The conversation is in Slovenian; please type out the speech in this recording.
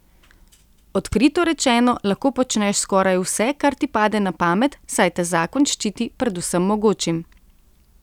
Odkrito rečeno lahko počneš skoraj vse, kar ti pade na pamet, saj te zakon ščiti pred vsem mogočim.